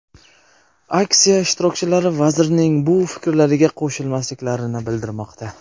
Aksiya ishtirokchilari vazirning bu fikrlariga qo‘shilmasliklarini bildirmoqda.